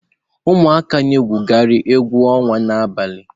Ụmụaka na egwukari egwu onwa n'abalị.